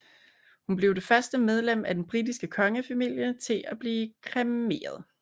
Hun blev det første medlem af den britiske kongefamilie til at blive kremeret